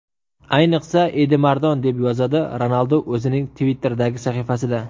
Ayniqsa, Edimardan”, deb yozadi Ronaldu o‘zining Twitter’dagi sahifasida.